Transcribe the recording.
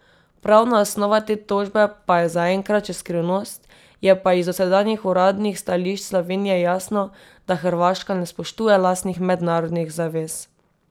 Pravna osnova te tožbe pa je zaenkrat še skrivnost, je pa iz dosedanjih uradnih stališč Slovenije jasno, da Hrvaška ne spoštuje lastnih mednarodnih zavez.